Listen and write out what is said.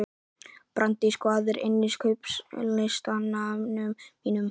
Brandís, hvað er á innkaupalistanum mínum?